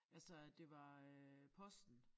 Altså at det var øh posten